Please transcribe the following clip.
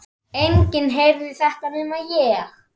Enginn heyrir þetta nema ég.